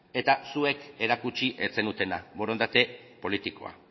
eta zuek erakutsi ez zenutena borondate politikoa